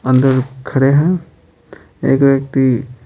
अंदर खड़े हैं एक व्यक्ति --